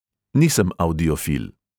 Nisem avdiofil.